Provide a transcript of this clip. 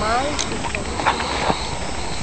Mas, em cima disso tinha uma bruxa.